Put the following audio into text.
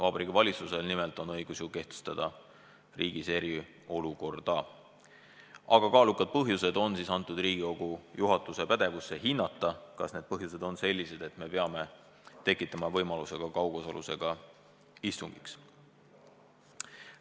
Vabariigi Valitsusel nimelt on õigus ju kehtestada riigis eriolukord, aga "kaalukad põhjused" on antud Riigikogu juhatuse pädevusse hinnata – juhatus hindab, kas need põhjused on sellised, et me peame tekitama võimaluse ka kaugosalusega istungiks.